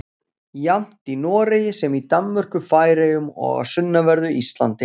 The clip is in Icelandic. Jafnt í Noregi sem í Danmörku, Færeyjum og á sunnanverðu Íslandi.